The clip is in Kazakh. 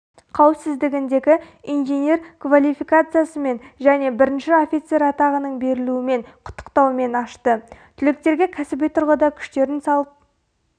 қауісіздігіндегі инженер квалификациясымен және бірінші офицерлік атағының берілуімен құттықтаумен ашты түлектерге кәсіби тұрғыда күштерін салып